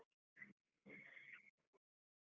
.